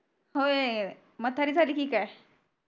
होय म्हतारी झाली की काय